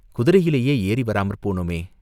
குதிரையிலேயே ஏறி வராமற் போனோமே?